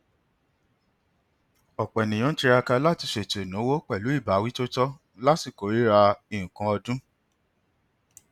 ọpọ ènìyàn ń tiraka láti ṣètò ináwó pẹlú ìbáwí tó tọ ní àsìkò rírà nkan ọdún